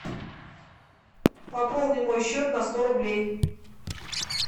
пополни мой счет на сто рублей